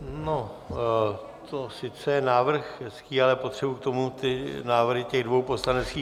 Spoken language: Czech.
No, to sice je návrh hezký, ale potřebuji k tomu ty návrhy těch dvou poslaneckých klubů.